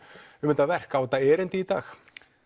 um þetta verk á þetta erindi í dag